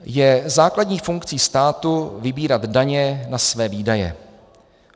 Je základní funkcí státu vybírat daně na své výdaje.